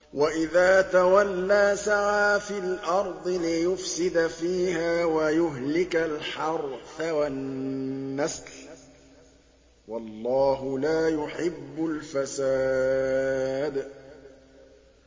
وَإِذَا تَوَلَّىٰ سَعَىٰ فِي الْأَرْضِ لِيُفْسِدَ فِيهَا وَيُهْلِكَ الْحَرْثَ وَالنَّسْلَ ۗ وَاللَّهُ لَا يُحِبُّ الْفَسَادَ